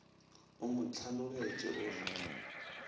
o mo hlanogetše o re